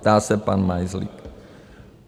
Ptá se pan Majzlík.